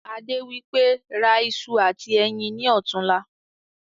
Adé wípé" ra ìṣù àti ẹyin ni ọ̀tunla"